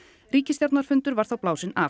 ríkisstjórnarfundur var þá blásinn af